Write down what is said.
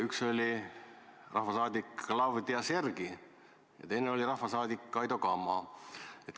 Üks oli rahvasaadik Klavdia Sergij ja teine oli rahvasaadik Kaido Kama.